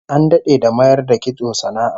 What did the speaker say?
An dade da mayar da kitso sana'a